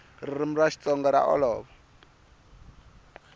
ririmi ra xitsonga ra olova